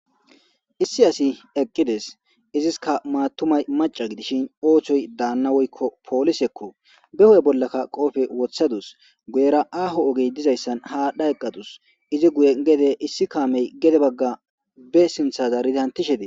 Issi asi eqqides iziska maatumay maca gidishin oochoy daanna woykko poolisekko behoy bollakka qoofe wothadus guyera aaho ogey dizayssan haadha eqqadus izi guye gede issi kaamey gede bagga be sintha zaridi hantishede